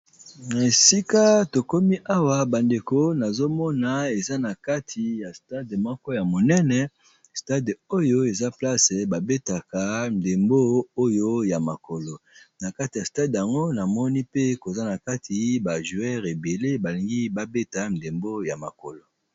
Na esika tokomi awa bandeko nazomona eza na kati ya stade moko ya monene stade oyo eza place ba betaka ndembo oyo ya mokolo na kati ya stade yango namoni pe koza na kati ba joueur ebele balingi babeta ndembo ya makolo.